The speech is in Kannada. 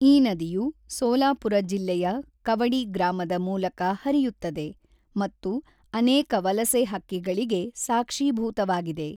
ಈ ನದಿಯು ಸೋಲಾಪುರ ಜಿಲ್ಲೆಯ ಕವಡಿ ಗ್ರಾಮದ ಮೂಲಕ ಹರಿಯುತ್ತದೆ ಮತ್ತು ಅನೇಕ ವಲಸೆ ಹಕ್ಕಿಗಳಿಗೆ ಸಾಕ್ಷೀಭೂತವಾಗಿದೆ.